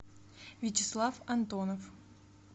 вячеслав антонов